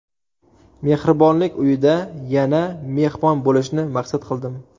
Mehribonlik uyida yana mehmon bo‘lishni maqsad qildim.